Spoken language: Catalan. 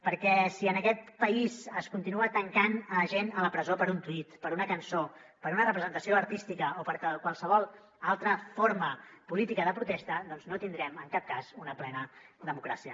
perquè si en aquest país es continua tancant gent a la presó per un tuit per una cançó per una representació artística o per qualsevol altra forma política de protesta doncs no tindrem en cap cas una plena democràcia